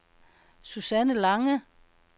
Susanne Lange